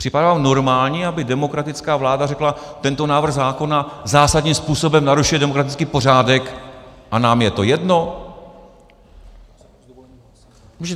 Připadá vám normální, aby demokratická vláda řekla "tento návrh zákona zásadním způsobem narušuje demokratický pořádek a nám je to jedno"?